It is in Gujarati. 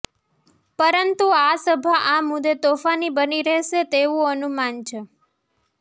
પરંતુ આ સભા આ મુદ્દે તોફાની બની રહેશે તેવું અનુમાન છે